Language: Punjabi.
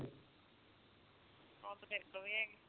ਉਹ ਤੇ ਤੇਰੇ ਤੋਂ ਵੀ ਹੈਗੀ